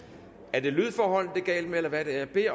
er det lydforholdene det er galt med eller hvad er det